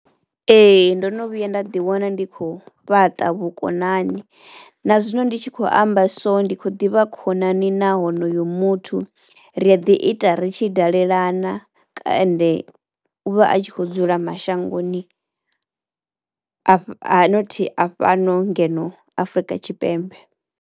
Ee ndono vhuya nda ḓi wana ndi khou fhaṱa vhukonani na zwino ndi tshi khou amba so ndi khou ḓivha khonani na honoyo muthu. Ri a ḓi ita ri ri tshi dalelana ka ende u vha a tshi kho dzula mashangoni a fha a not a fhano ngeno Afrika Tshipembe.